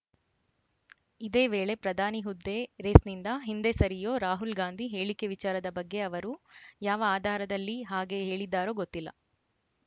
ಇದೇವೇಳೆ ಪ್ರದಾನಿ ಹುದ್ದೆ ರೇಸ್‌ನಿಂದ ಹಿಂದೆ ಸರಿಯೋ ರಾಹುಲ್‌ ಗಾಂಧಿ ಹೇಳಿಕೆ ವಿಚಾರದ ಬಗ್ಗೆ ಅವರು ಯಾವ ಆಧಾರದಲ್ಲಿ ಹಾಗೆ ಹೇಳಿದ್ದಾರೋ ಗೊತ್ತಿಲ್ಲ